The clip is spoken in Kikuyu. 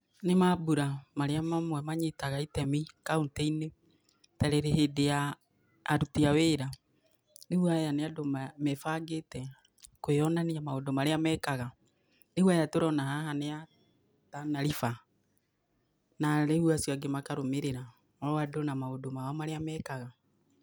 Nĩ mambura maria mamwe manyitaga itemi kaũntĩ-inĩ ta hĩndĩ ya aruti a wĩra. Rĩu aya nĩ andũ mebangĩte kwĩyonania maũndũ marĩa mekaga. Rĩu aya tũrona haha nĩ a Tana River, na rĩu acio angĩ makarũmĩrĩra, o andũ na maũndũ mao marĩa mekaga.